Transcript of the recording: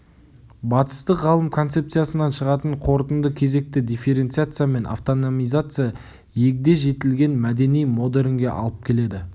батыстық ғалым концепциясынан шығатын қорытынды кезекті дифференциация мен автономизация егде жетілген мәдени модернге алып келеді